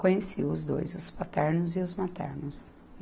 Conheci os dois, os paternos e os maternos.